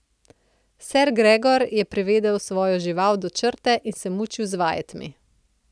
Ser Gregor je privedel svojo žival do črte in se mučil z vajetmi.